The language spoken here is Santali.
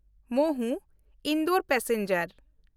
ᱢᱚᱦᱩ–ᱤᱱᱫᱳᱨ ᱯᱮᱥᱮᱧᱡᱟᱨ